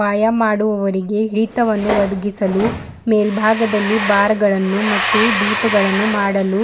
ವಾಯ್ಯಾಮ ಮಾಡುವವರಿಗೆ ಹಿಡಿತವನ್ನು ಒದಗಿಸಲು ಮೇಲ್ಭಾಗದಲ್ಲಿ ಬಾರ್ ಗಳನ್ನು ಮತ್ತು ಡೀಪ ಗಳನ್ನು ಮಾಡಲು